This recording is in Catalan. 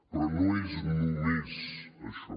però no és només això